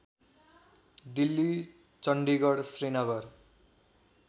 Delhi Chandigarh Srinagar